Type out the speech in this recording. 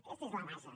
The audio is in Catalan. aquesta és la base